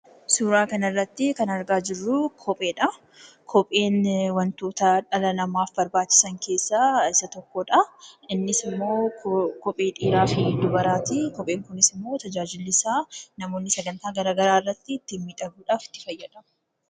Suuraa kanarratti kan argaa jirru kopheedha. Kopheen wantoota dhala namaaf barbaachisan keessaa isa tokkodha. Innis immoo kophee dhiiraa fi dubaraati. Kopheen kunis immoo tajaajilli isaa namoonni sagantaa garaagaraa irratti ittiin miidhaguuf itti fayyadamu.